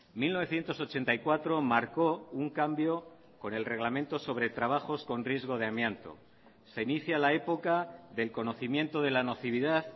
mil novecientos ochenta y cuatro marcó un cambio con el reglamento sobre trabajos con riesgo de amianto se inicia la época del conocimiento de la nocividad